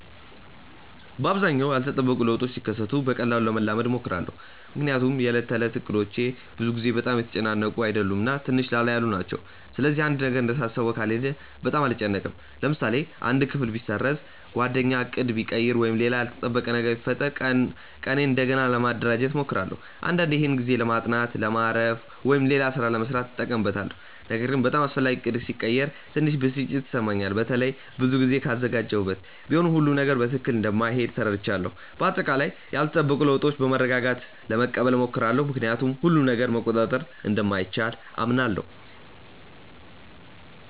በአብዛኛው ያልተጠበቁ ለውጦች ሲከሰቱ በቀላሉ ለመላመድ እሞክራለሁ። ምክንያቱም የዕለት ተዕለት እቅዶቼ ብዙ ጊዜ በጣም የተጨናነቁ አይደሉም እና ትንሽ ላላ ያሉ ናቸው። ስለዚህ አንድ ነገር እንደታሰበው ካልሄደ በጣም አልጨነቅም። ለምሳሌ አንድ ክፍል ቢሰረዝ፣ ጓደኛ ዕቅድ ቢቀይር ወይም ሌላ ያልተጠበቀ ነገር ቢፈጠር ቀኔን እንደገና ለማደራጀት እሞክራለሁ። አንዳንዴ ይህን ጊዜ ለማጥናት፣ ለማረፍ ወይም ሌላ ሥራ ለመሥራት እጠቀምበታለሁ። ነገር ግን በጣም አስፈላጊ ዕቅድ ሲቀየር ትንሽ ብስጭት ይሰማኛል፣ በተለይ ብዙ ጊዜ ካዘጋጀሁበት። ቢሆንም ሁሉም ነገር በትክክል እንደማይሄድ ተረድቻለሁ። በአጠቃላይ ያልተጠበቁ ለውጦችን በመረጋጋት ለመቀበል እሞክራለሁ፣ ምክንያቱም ሁሉንም ነገር መቆጣጠር እንደማይቻል አምናለሁ።